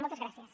moltes gràcies